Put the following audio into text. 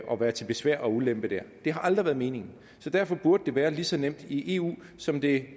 og være til besvær og ulempe der det har aldrig været meningen så derfor burde det være lige så nemt i eu som det